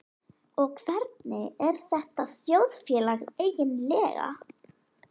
Og hvernig er þetta þjóðfélag eiginlega?